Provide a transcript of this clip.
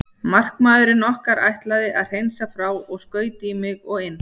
Markamaðurinn okkar ætlaði að hreinsa frá og skaut í mig og inn.